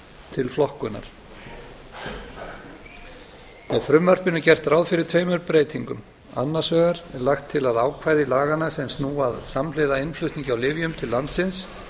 til flokkunar í frumvarpinu er gert ráð fyrir tveimur breytingum annars vegar er lagt til að ákvæði laganna sem snúa að samhliða innflutningi á lyfjum til landsins